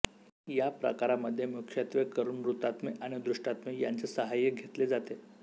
या प्रकारामध्ये मुख्यत्वेकरून मृतात्मे आणि दुष्टात्मे यांचे सहाय्य घेतले जाते